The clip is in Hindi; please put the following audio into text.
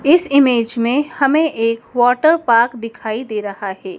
इस इमेज मे हमे एक वॉटर पार्क दिखाई दे रहा हैं।